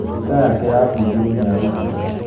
Nduka yake yabunjirwo nĩ arũrũngani